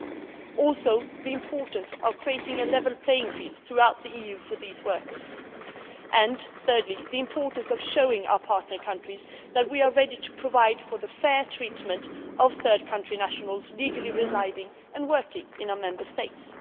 It will also take account of the importance of creating a level playing field throughout the EU for these workers and, thirdly, the importance of showing our partner countries that we are ready to provide for the fair treatment of third country nationals legally residing and working in our Member States.